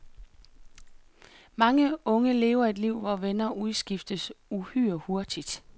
Mange unge lever et liv, hvor venner udskiftes uhyre hurtigt.